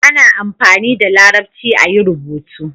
ana amfani da larabci a yi rubutu